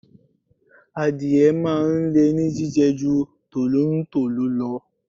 Adìẹ máa ń le ní jíjẹ ju tolontolo lọ.